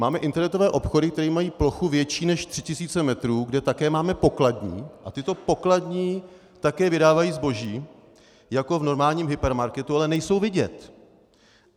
Máme internetové obchody, které mají plochu větší než 3000 metrů, kde také máme pokladní, a tyto pokladní také vydávají zboží jako v normálním hypermarketu, ale nejsou vidět.